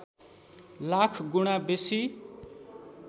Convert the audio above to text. लाख गुणा बेसी